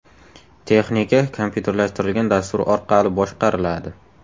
Texnika kompyuterlashtirilgan dastur orqali boshqariladi.